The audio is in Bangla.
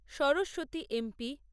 Saraswati M P